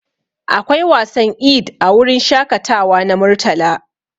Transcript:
Akwai wasan Eid a wurin shakatawa na Murtala.